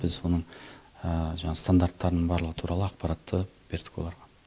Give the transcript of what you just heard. біз оның жаңағы стандарттарын барлығы туралы ақпаратты бердік оларға